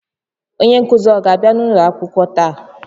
Onye nkuzi ọ ga-abịa ulo akwụkwọ taa?